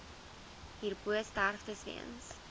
hierbo sterftes weens